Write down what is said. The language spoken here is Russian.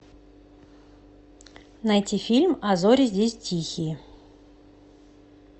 найти фильм а зори здесь тихие